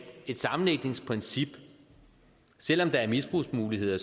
et sammenlægningsprincip selv om der er misbrugsmuligheder i